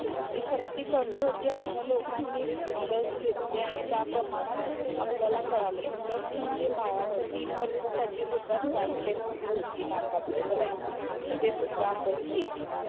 ती शक्ती कमी होते अश्या लोकांनि लस घेतली आणि त्या प्रमाणात आपल्याला काळाल कि लस म्हणजे बाळाच्या तीन वर्ष साठी सुद्धा स्वॅप टेस्ट जी होती नाकातून करायची ते सुद्धा आपण केली